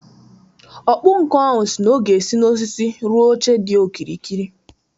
Ọkpụnkụ ahụ si na ọ ga-esi n’osisi rụọ oche dị okirikiri